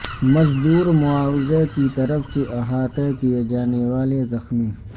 مزدور معاوضہ کی طرف سے احاطہ کئے جانے والے زخمی